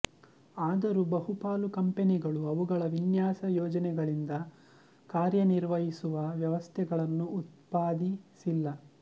ಆದರೂ ಬಹುಪಾಲು ಕಂಪನಿಗಳು ಅವುಗಳ ವಿನ್ಯಾಸ ಯೋಜನೆಗಳಿಂದ ಕಾರ್ಯನಿರ್ವಹಿಸುವ ವ್ಯವಸ್ಥೆಗಳನ್ನು ಉತ್ಪಾದಿಸಿಲ್ಲ